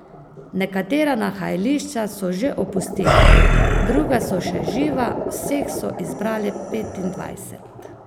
Nekatera nahajališča so že opustili, druga so še živa, vseh so izbrali petindvajset.